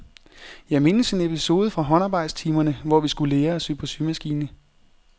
Jeg mindes en episode fra håndarbejdstimerne, hvor vi skulle lære at sy på symaskine.